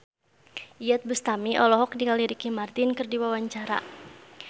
Iyeth Bustami olohok ningali Ricky Martin keur diwawancara